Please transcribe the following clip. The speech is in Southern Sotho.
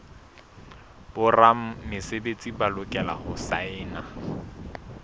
boramesebetsi ba lokela ho saena